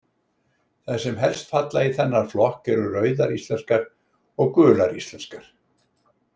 Þær sem helst falla í þennan flokk eru Rauðar íslenskar og Gular íslenskar.